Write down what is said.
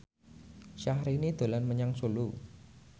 Syahrini dolan menyang Solo